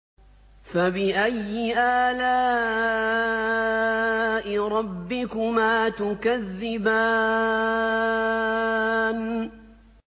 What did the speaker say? فَبِأَيِّ آلَاءِ رَبِّكُمَا تُكَذِّبَانِ